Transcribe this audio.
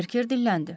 Berker dilləndi.